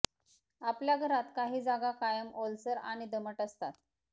आपल्या घरात काही जागा कायम ओलसर आणि दमट असतात